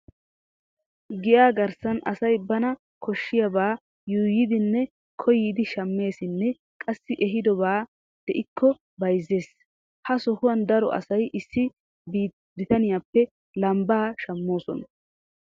Giyaa garssan asay bana koshshiyabaa yuuyidinne koyidi shammeesinne qassi ehiidobay de'ikko bayzzees. Ha sohuwan daro asay issi bitaniyappe lambbaa shammoosona.